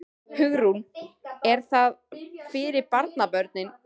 Hugrún: Er það fyrir barnabörnin?